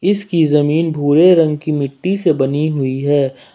इसकी जमीन भूरे रंग की मिट्टी से बनी हुई है।